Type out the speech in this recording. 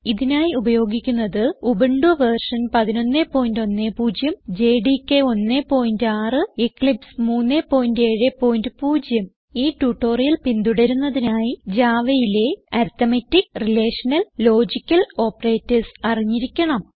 ഇതിനായി ഉപയോഗിക്കുന്നത് Ubuntu v 1110 JDK 16 Eclipse 370 ഈ ട്യൂട്ടോറിയൽ പിന്തുടരുന്നതിനായി Javaയിലെ അരിത്മെറ്റിക് റിലേഷണൽ ലോജിക്കൽ ഓപ്പറേറ്റർസ് അറിഞ്ഞിരിക്കണം